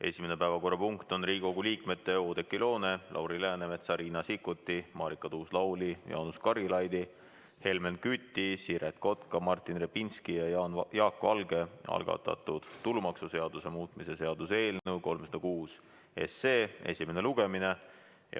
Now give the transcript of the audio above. Esimene päevakorrapunkt on Riigikogu liikmete Oudekki Loone, Lauri Läänemetsa, Riina Sikkuti, Marika Tuus-Lauli, Jaanus Karilaidi, Helmen Küti, Siret Kotka, Martin Repinski ja Jaak Valge algatatud tulumaksuseaduse muutmise seaduse eelnõu 306 esimene lugemine.